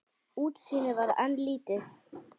Útsýnið var enn lítið.